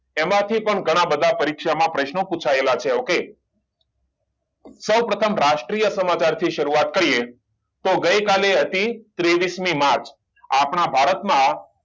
એમાં થી પણ ઘણા બધા પરીક્ષા માં પ્રશ્ન પુછાયેલા છે સૌપ્રથમ રાષ્ટ્રીય સમાચાર થી સારુંઆત કરીયે તો ગયકાલે હતી ત્રેવીસ મી માર્ચ